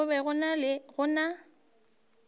kgale go be go na